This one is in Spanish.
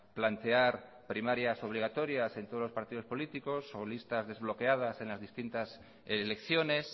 plantear primarias obligatorias en todos los partidos políticos o listas desbloqueadas en las distintas elecciones